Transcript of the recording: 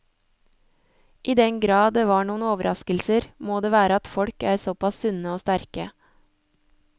I den grad det var noen overraskelser, må det være at folk er såpass sunne og sterke.